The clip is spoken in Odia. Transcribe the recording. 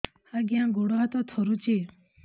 ଆଜ୍ଞା ଗୋଡ଼ ହାତ ଥରୁଛି